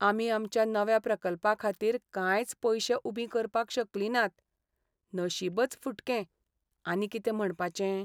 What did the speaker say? आमी आमच्या नव्या प्रकल्पाखातीर कांयच पयशे उबीं करपाक शकलीं नात, नशीबच फुटकें, आनी कितें म्हणपाचें.